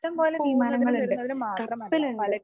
ഇഷ്ടംപോലെ വിമാനങ്ങളുണ്ട്, കപ്പലുണ്ട്.